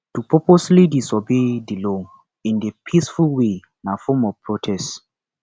to purposely disobey di law in a peaceful way na form of protest